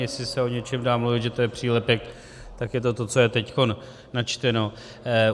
Jestli se o něčem dá mluvit, že to je přílepek, tak je to to, co je teď načteno.